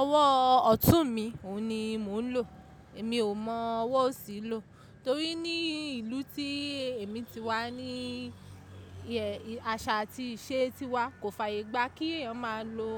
Ọwọ́ ọ̀tún mi òun ni mò ń lò. Èmi ò mọ ọwọ́ òsì lò torí ní ìlú tí èmi ti wá ní ìhẹ, àṣà àti ìṣe tí wá kò fàyè gbá kí èèyàn máa lo